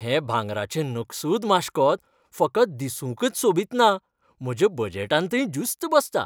हें भांगराचें नकसूद माश्कोत फकत दिसूंकच सोबीत ना, म्हज्या बजेटांतय ज्युस्त बसता.